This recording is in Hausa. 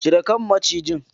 Cire kan macijin!